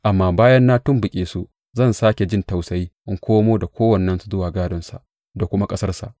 Amma bayan na tumɓuke su, zan sāke jin tausayi in komo da kowannensu zuwa gādonsa da kuma ƙasarsa.